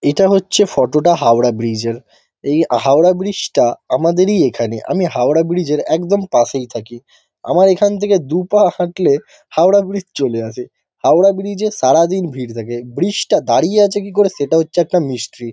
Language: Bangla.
এটা হচ্ছে ফটো টা হাওড়া ব্রিজ -এর। এই আ হাওড়া ব্রিজ -টা আমাদেরই এখানে। আমি হাওড়া ব্রিজ -এর একদম পাশেই থাকি। আমার এখান থেকে দু-পা হাঁটলে হাওড়া ব্রিজ চলে আসে। হাওড়া ব্রিজ -এ সারাদিন ভিড় থাকে। ব্রিজ টা দাঁড়িয়ে আছে কি করে সেটা হচ্ছে একটা মিস্ট্রী ।